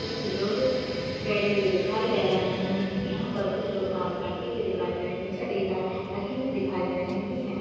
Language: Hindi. कुछ लोग बैठे हुए दिखाई दे रहे हैं यहां पर कुछ लोग काम करते हुए दिखाई दे रहे है निचे रेत रखी हुई दिखाई दे रही है।